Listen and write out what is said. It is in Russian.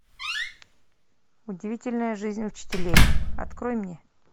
удивительная жизнь учителей открой мне